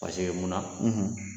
Paseke mun na?